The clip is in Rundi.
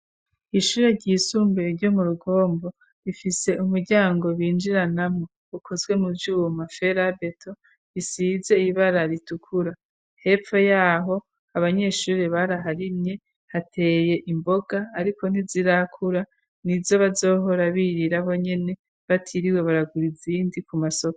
Ishuri ry'isumbuye ryo mu rugombo rifise umuryango binjiranamwo ukozwe mu vyuma ferabeto isize ibara ritukura hepfo yaho abanyeshuri baraharimye hateye imboga ariko nti zirakura nizo bazohora birira bonyene batiriwe baragura izindi ku masoko